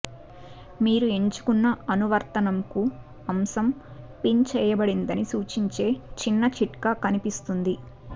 మీరు ఎంచుకున్న అనువర్తనంకు అంశం పిన్ చేయబడిందని సూచించే చిన్న చిట్కా కనిపిస్తుంది